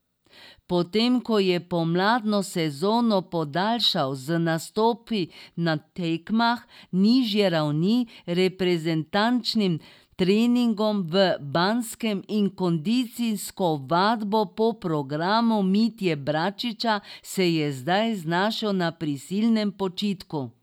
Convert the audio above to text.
Potem ko je pomladno sezono podaljšal z nastopi na tekmah nižje ravni, reprezentančnim treningom v Banskem in kondicijsko vadbo po programu Mitje Bračiča, se je zdaj znašel na prisilnem počitku.